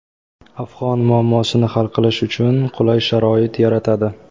afg‘on muammosini hal qilish uchun qulay sharoit yaratadi.